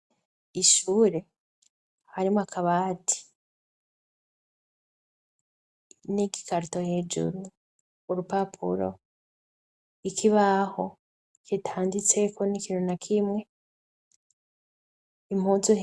Ishure harimo akabati n'igikarito hejuru urupapuro ikibaho kitanditseko n'ikintu na k'imwe .